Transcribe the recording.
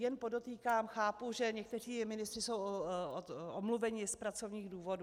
Jen podotýkám, chápu, že někteří ministři jsou omluveni z pracovních důvodů.